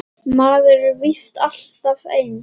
Maður er víst alltaf eins!